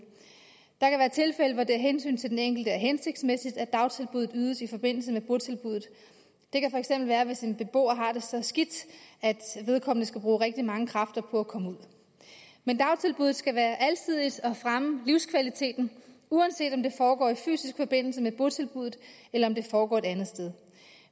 der kan være tilfælde hvor det af hensyn til den enkelte er hensigtsmæssigt at dagtilbuddet ydes i forbindelse med botilbuddet det kan være hvis en beboer har det så skidt at vedkommende skal bruge rigtig mange kræfter på at komme ud men dagtilbuddet skal være alsidigt og fremme livskvaliteten uanset om det foregår i fysisk forbindelse med botilbuddet eller om det foregår et andet sted